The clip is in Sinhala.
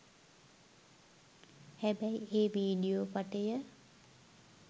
හැබැයි ඒ වීඩියෝ පටය